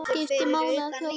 Skiptir máli að kjósa?